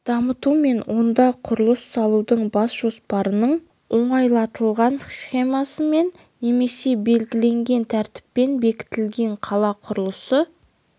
дамыту мен онда құрылыс салудың бас жоспарының оңайлатылған схемасымен немесе белгіленген тәртіппен бекітілген қала құрылысы